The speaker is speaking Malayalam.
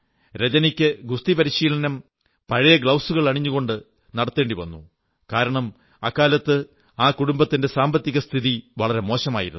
രജനിക്ക് ഗുസ്തി പരിശീലനം പഴയ ഗ്ലൌസുകൾ അണിഞ്ഞു കൊണ്ട് വേണ്ടിവന്നു കാരണം അക്കാലത്ത് കുടുംബത്തിന്റെ സാമ്പത്തിക സ്ഥിതി വളരെ മോശമായിരുന്നു